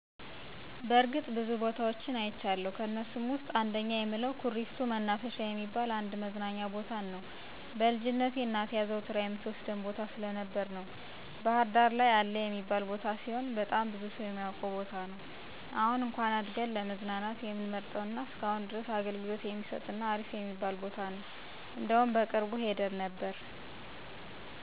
በርግጥ ብዙ ቦታወች አይቻለሁ። ከእነሱም ውስጥ አንደኛ የምለው ኩሪፍቱ መናፈሻ የሚባል አንድ መዝናኛ ቦታን ነው። በልጅነቴ እናቴ አዘውትራ የምትወስደን ቦታ ስለነበረ ነው። ባህርዳር ላይ አለ የሚባል ቦታ ሲሆን በጣም ብዙ ሰው የሚያውቀው ቦታ ነው። አሁን እንኩአን አድገን ለመዝናናት የምንመርጠው እና እስከአሁን ድረስ አገልግሎት የሚሰጥ እና አሪፍ የሚባል ቦታ ነው። እንደውም በቅርቡ ሄደን ነበር።